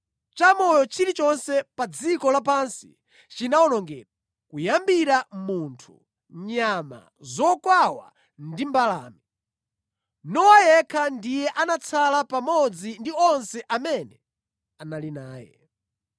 Chamoyo chilichonse pa dziko lapansi chinawonongedwa, kuyambira munthu, nyama, zokwawa ndi mbalame. Nowa yekha ndiye anatsala pamodzi ndi onse amene anali naye.